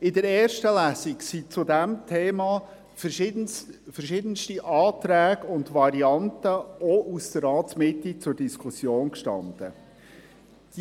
In der ersten Lesung standen zu diesem Thema verschiedenste Anträge und Varianten, zur Diskussion, auch aus der Ratsmitte.